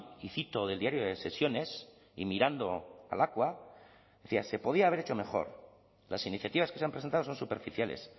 y cito del diario de sesiones y mirando a lakua decía se podía haber hecho mejor las iniciativas que se han presentado son superficiales